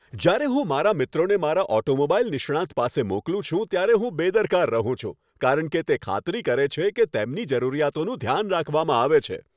જ્યારે હું મારા મિત્રોને મારા ઓટોમોબાઈલ નિષ્ણાંત પાસે મોકલું છું ત્યારે હું બેદરકાર રહું છું, કારણ કે તે ખાતરી કરે છે કે તેમની જરૂરિયાતોનું ધ્યાન રાખવામાં આવે છે.